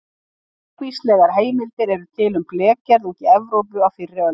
Margvíslegar heimildir eru til um blekgerð úti í Evrópu á fyrri öldum.